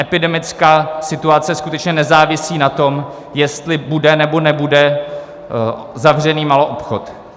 Epidemická situace skutečně nezávisí na tom, jestli bude, nebo nebude zavřený maloobchod.